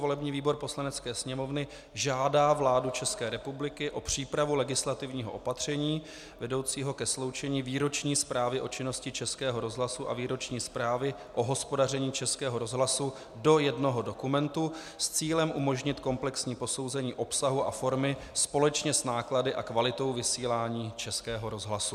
Volební výbor Poslanecké sněmovny žádá vládu České republiky o přípravu legislativního opatření vedoucího ke sloučení výroční zprávy o činnosti Českého rozhlasu a výroční zprávy o hospodaření Českého rozhlasu do jednoho dokumentu s cílem umožnit komplexní posouzení obsahu a formy společně s náklady a kvalitou vysílání Českého rozhlasu.